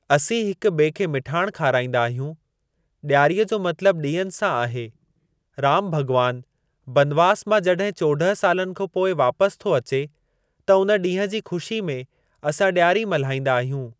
असीं हिक ॿिए खे मिठाण खाराईंदा आहियूं। ॾियारीअ जो मतिलबु ॾियनि सां आहे। राम भॻवान बनवास मां जॾहिं चोॾहं सालनि खा पोइ वापसि थो अचे त उन ॾींहुं जी ख़ुशी में असां ॾियारी मल्हाईंदा आहियूं।